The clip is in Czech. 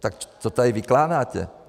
Tak co tady vykládáte?